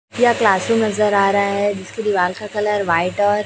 यहां classroom नजर आ रहा है जिसके दीवाल का कलर व्हाइट और--